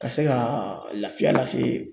Ka se ka lafiya lase